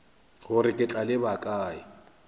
gore ke tla leba kae